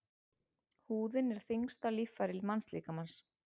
Húðin er þyngsta líffæri mannslíkamans.